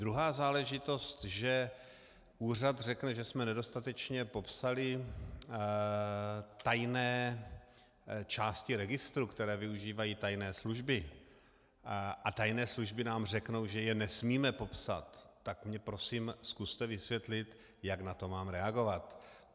Druhá záležitost, že úřad řekne, že jsme nedostatečně popsali tajné části registru, které využívají tajné služby, a tajné služby nám řeknou, že je nesmíme popsat, tak mi prosím zkuste vysvětlit, jak na to mám reagovat.